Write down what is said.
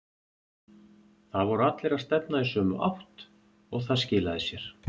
Það voru allir að stefna í sömu átt og það skilaði sér.